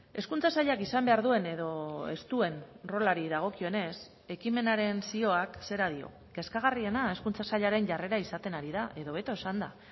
hezkuntza sailak izan behar duen edo ez duen rolari dagokionez ekimenaren zioak zera dio kezkagarriena hezkuntza sailaren jarrera izaten ari da edo hobeto esanda